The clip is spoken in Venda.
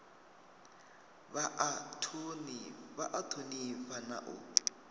vha a thonifha na u